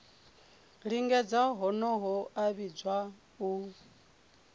lingedza honoho a vhidzwa u